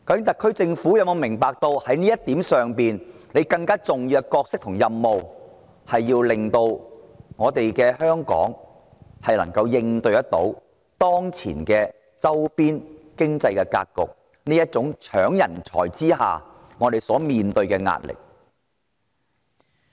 特區政府是否明白，其更重要的角色和任務是令香港能夠應對當前的周邊經濟格局，克服人才爭奪戰所帶來的壓力？